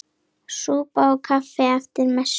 Súpa og kaffi eftir messu.